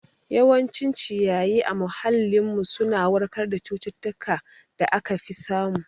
Yawancin ci yayi a muhallin mu suna warkar da cututtukar da aka fi samu